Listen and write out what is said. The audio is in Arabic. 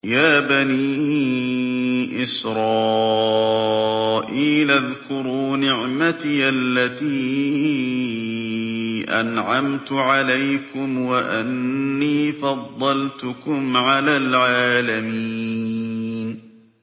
يَا بَنِي إِسْرَائِيلَ اذْكُرُوا نِعْمَتِيَ الَّتِي أَنْعَمْتُ عَلَيْكُمْ وَأَنِّي فَضَّلْتُكُمْ عَلَى الْعَالَمِينَ